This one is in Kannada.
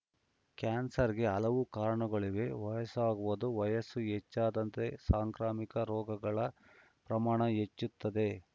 ಕ್ಯಾನ್ಸರ್‌ಗೆ ಹಲವು ಕಾರಣಗಳಿವೆ ವಯಸ್ಸಾಗುವುದು ವಯಸ್ಸು ಹೆಚ್ಚಿದಂತೆ ಸಾಂಕ್ರಾಮಿಕ ರೋಗಗಳ ಪ್ರಮಾಣ ಹೆಚ್ಚುತ್ತದೆ